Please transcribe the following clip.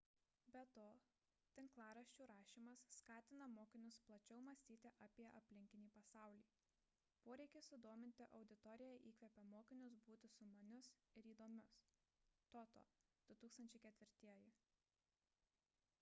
be to tinklaraščių rašymas skatina mokinius plačiau mąstyti apie aplinkinį pasaulį . poreikis sudominti auditoriją įkvepia mokinius būti sumanius ir įdomius toto 2004